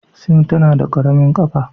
Sim tana da ƙaramin ƙafa.